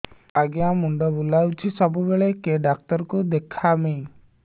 ଆଜ୍ଞା ମୁଣ୍ଡ ବୁଲାଉଛି ସବୁବେଳେ କେ ଡାକ୍ତର କୁ ଦେଖାମି